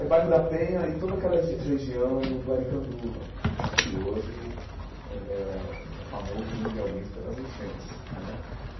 É o bairro da Penha e toda aquela re região do Arikanduva, que hoje é famoso mundialmente pelas enchentes né.